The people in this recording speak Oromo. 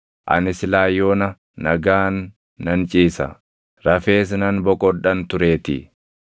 Ani silaa yoona nagaan nan ciisa; rafees nan boqodhan tureetii;